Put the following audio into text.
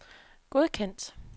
godkendt